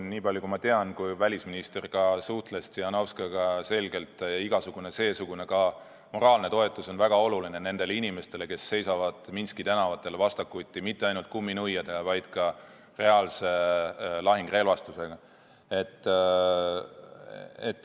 Nii palju kui ma tean, kui meie välisminister suhtles Tsihhanovskajaga, siis informatsioon oli, et igasugune, ka seesugune moraalne toetus on väga oluline nendele inimestele, kes seisavad Minski tänavatel vastakuti mitte ainult kumminuiadega, vaid ka reaalse lahingurelvastusega.